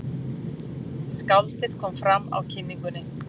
Skáldið kom fram á kynningunni.